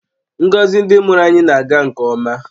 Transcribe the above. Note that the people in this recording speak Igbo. Ngọzi ndị mụrụ anyị na-aga nke ọma